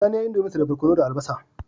Sani yayi indomie dinsa da barkono da albasa